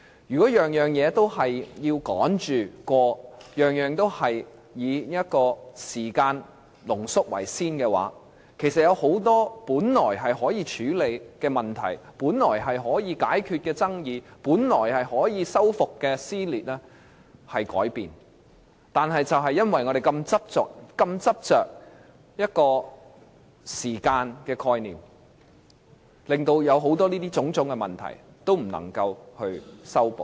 如果每件事情都要趕着通過，每件事情都以濃縮時間為先，有很多本來可以處理的問題，本來可以解決的爭議，本來可以修復的撕裂，結果都會通通改變，原因是我們如此執着於一個時間的概念，便令很多問題都不能夠修補。